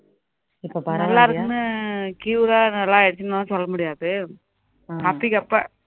நல்லா இருக்குன்னா cure ரா நல்ல ஆகிடுச்சுன்னுலாம் சொல்ல்ல முடியாது அப்படிக்கு அப்ப